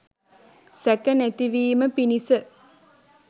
සැක නැතිවීම පිණිස